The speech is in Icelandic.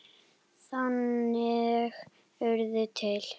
Þannig urðu til